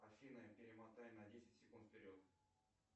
афина перемотай на десять секунд вперед